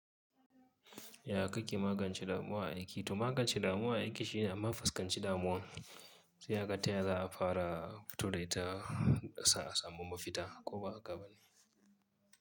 Ya kake magance damuwa a aiki? To magance damuwa a aiki shine amma faskance damuwan. Sai haka ta yaya za a fara fito dai ta za a samu mafita ko ba haka bane.